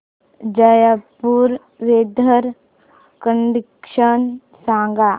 Jaipur weather condition सांगा